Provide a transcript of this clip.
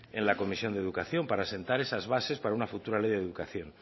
en la comisión de educación para sentar esas bases para una futura ley de educación